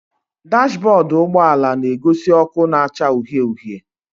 Dashbọdụ ụgbọala na-egosi ọkụ na-acha uhie uhie